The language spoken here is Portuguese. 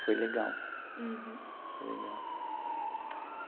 Foi legal. Uhum. Foi legal.